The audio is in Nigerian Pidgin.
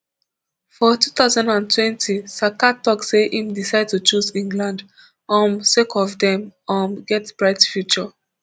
for two thousand and twenty saka tok say im decide to choose england um sake of dem um get bright future